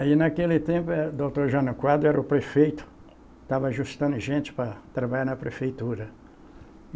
Aí, naquele tempo, era doutor Jânio Quadros era o prefeito, estava ajustando gente para trabalhar na prefeitura.